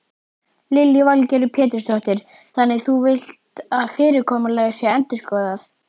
Lillý Valgerður Pétursdóttir: Þannig þú villt að fyrirkomulag sé endurskoðað?